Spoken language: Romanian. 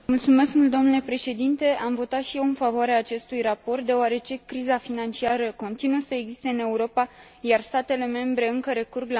Am votat și eu în favoarea acestui raport deoarece criza financiară continuă să existe în Europa, iar statele membre încă recurg la măsuri de austeritate.